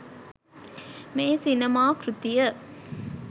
මේ සිනමා කෘතිය